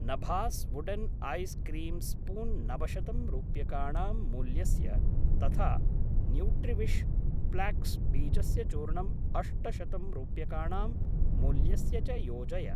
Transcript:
नभास् wooden ice cream spoon नवशतं रूप्यकाणां मूल्यस्य तथा न्यूट्रिविश् फ्लाक्स् बीजस्य चूर्णम् अष्टशतं रूप्यकाणां मूल्यस्य च योजय।